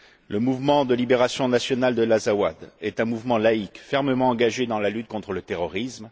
Le Mouvement de libération national de l'Azawad est un mouvement laïque fermement engagé dans la lutte contre le terrorisme.